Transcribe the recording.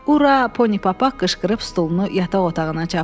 Ura, Ponipapaq qışqırıb stulunu yataq otağına çapdı.